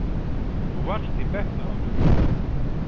Þú varst í bekk með honum.